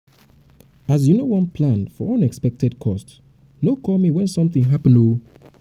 as you no wan plan for unexpected cost no call me wen something happen o